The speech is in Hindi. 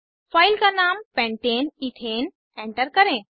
फाइल का नाम pentane इथेन एंटर करें